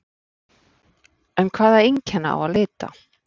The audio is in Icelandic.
En hvaða einkenna á að leita?